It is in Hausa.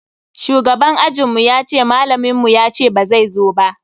Shugaban ajinmu yace malamin mu yace bazai zo ba.